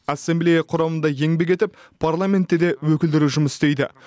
ассамблея құрамында еңбек етіп парламентте де өкілдері жұмыс істейді